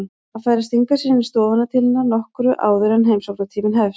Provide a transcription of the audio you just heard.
Hann fær að stinga sér inn í stofuna til hennar nokkru áður en heimsóknartíminn hefst.